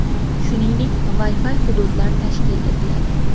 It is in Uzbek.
Shuningdek, Wi-Fi hududlar tashkil etiladi.